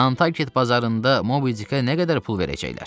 Nantarket bazarında Mobidikə nə qədər pul verəcəklər?